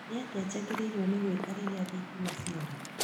Nĩatĩa njagĩrĩirwo nĩ gwĩka rĩrĩa thitima ciora?